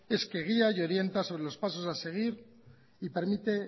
es que guía y orienta sobre los pasos a seguir y permite